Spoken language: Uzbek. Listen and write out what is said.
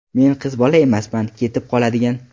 Men qiz bola emasman ketib qoladigan.